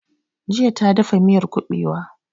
Jiya ta dafa miyar kuɓewa